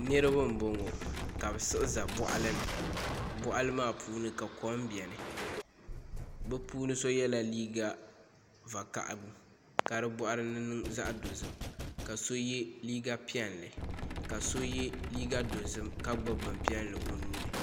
Niraba n boŋo ka bi siɣi ʒɛ boɣali ni boɣali maa puuni ka kom biɛni bi puuni so yɛla liiga vakaɣali ka di boɣari ni niŋ zaɣ dozim ka so yɛ liiga piɛlli ka so yɛ liiga dozim ka gbubi bin piɛlli o nuuni